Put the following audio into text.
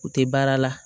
U tɛ baara la